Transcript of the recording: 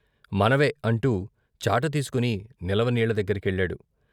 మన వే అంటూ చాట తీసుకొని నిలవ నీళ్ళదగ్గర కెళ్ళాడు.